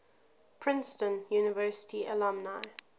princeton university alumni